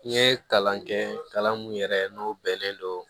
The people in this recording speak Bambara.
N ye kalan kɛ kalan mun yɛrɛ n'o bɛnnen don